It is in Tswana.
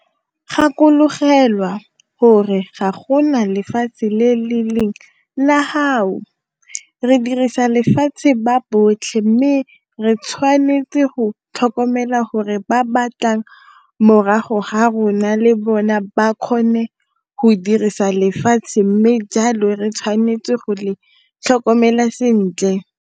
Gakologelwa gore ga go na lefatshe le le leng 'la gago' - re dirisa lefatshe ba botlhe mme re tshwanetse go tlhokomela gore ba ba tlang morago ga rona le bone ba kgone go dirisa lefatshe mme jalo re tshwanetse go le tlhokomela sentle.